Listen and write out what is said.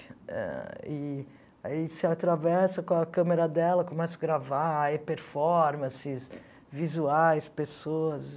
Ah e aí você atravessa com a câmera dela, começa a gravar e performances, visuais, pessoas.